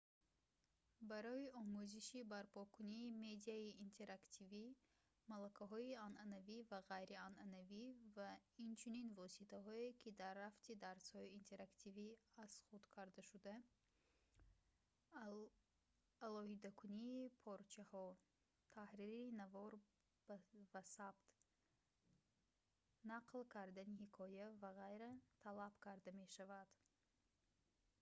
барои омӯзиши барпокунии медиаи интерактивӣ малакаҳои анъанавӣ ва ғайрианъанавӣ ва инчунин воситаҳое ки дар рафти дарсҳои итерактивӣ аз худ кардашуда алоҳидакунии порчаҳо таҳрири навор ва сабт нақл кардани ҳикоя в ғ. талаб карда мешавад